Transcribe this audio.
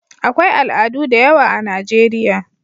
akwai al'adu da yawa a Najeriya